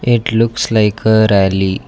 it looks like a rally.